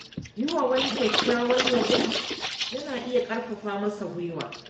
Yi wa wani kyakkyawan yabo yana iya ƙarfafa masa guiwa.